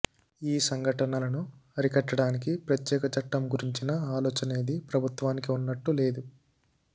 ఈ సంఘటనలను అరికట్టడానికి ప్రత్యేక చట్టం గురించిన ఆలోచనేది ప్రభుత్వానికి ఉన్నట్లు లేదు